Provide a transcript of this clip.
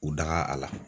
U daga a la